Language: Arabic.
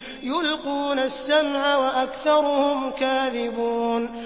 يُلْقُونَ السَّمْعَ وَأَكْثَرُهُمْ كَاذِبُونَ